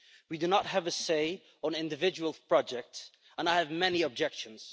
We do not have a say on individual projects, and I have many objections.